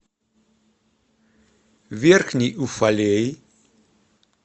верхний уфалей